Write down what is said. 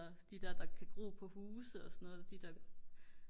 de der der kan gro på huse og sådan noget